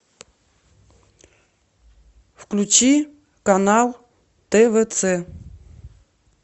включи канал твц